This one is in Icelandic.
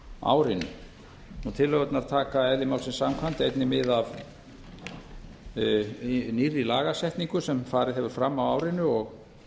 árinu tillögurnar taka eðli málsins samkvæmt einnig mið af nýrri lagasetningu sem farið hefur fram á árinu